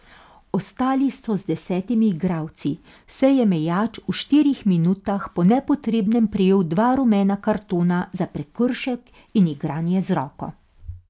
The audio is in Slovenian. Ostali so z desetimi igralci, saj je Mejač v štirih minutah po nepotrebnem prejel dva rumena kartona za prekršek in igranje z roko.